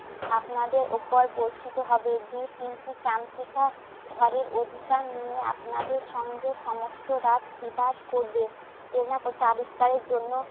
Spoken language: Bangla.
আপনাদের উপর বর্ষিত হবে। দু তিনটি চামচিকা ঘরের অধিকার নিয়ে আপনাদের সঙ্গে সমস্ত রাত বিবাদ করবে। চেনাকোটা আবিস্কারের জন্য